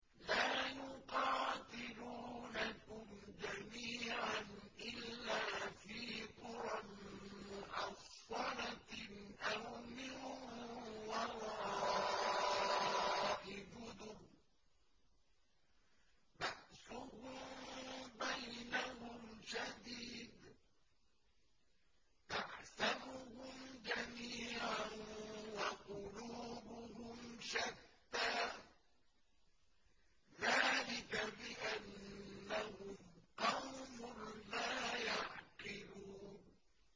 لَا يُقَاتِلُونَكُمْ جَمِيعًا إِلَّا فِي قُرًى مُّحَصَّنَةٍ أَوْ مِن وَرَاءِ جُدُرٍ ۚ بَأْسُهُم بَيْنَهُمْ شَدِيدٌ ۚ تَحْسَبُهُمْ جَمِيعًا وَقُلُوبُهُمْ شَتَّىٰ ۚ ذَٰلِكَ بِأَنَّهُمْ قَوْمٌ لَّا يَعْقِلُونَ